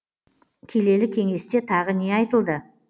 келелі кеңесте тағы не айтылды